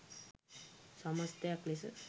සමස්ථයක් ලෙස